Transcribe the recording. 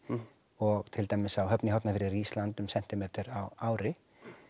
og til dæmis á Höfn í Hornafirði rís land um sentímetra á ári